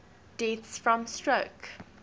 deaths from stroke